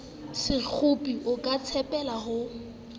sekgopi o ka tshepela ho